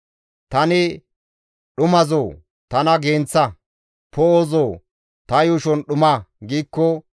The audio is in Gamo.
Tani, «Dhumazoo! Tana genththa; poo7ozoo! Ta yuushon dhuma» giikko,